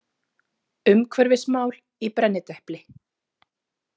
Umhverfismál í brennidepli.